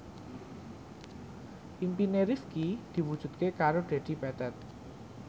impine Rifqi diwujudke karo Dedi Petet